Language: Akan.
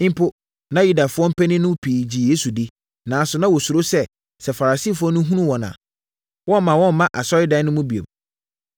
Mpo, na Yudafoɔ mpanin no mu pii gye Yesu di, nanso na wɔsuro sɛ, sɛ Farisifoɔ no hunu wɔn a, wɔremma wɔmma asɔredan no mu bio.